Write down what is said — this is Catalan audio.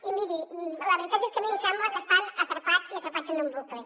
i miri la veritat és que a mi em sembla que estan atrapats i atrapats en un bucle